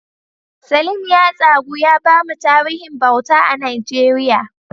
Salim ya tsagu ya bamu tarihin bauta a Najeriya.